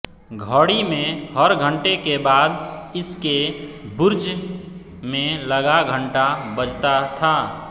घड़ी में हर घंटे के बाद इसके बुर्ज में लगा घंटा बजता था